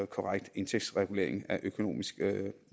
korrekt indtægtsregulering af økonomisk